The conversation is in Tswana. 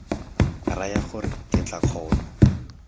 raya gore ke tla kgona